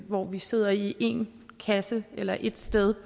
hvor vi sidder i en kasse eller et sted